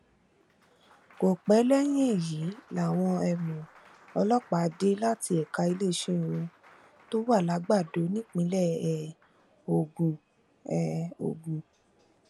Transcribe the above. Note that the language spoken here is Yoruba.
kò pẹ lẹyìn èyí làwọn um ọlọpàá dé láti ẹka iléeṣẹ wọn tó wà làgbàdo nípínlẹ um ogun um ogun